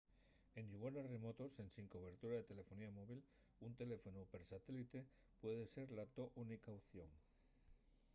en llugares remotos ensin cobertoria de telelefonía móvil un teléfonu per satélite puede ser la to única opción